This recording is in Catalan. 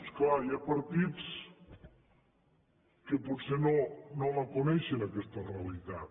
és clar hi ha partits que potser no la coneixen aquesta realitat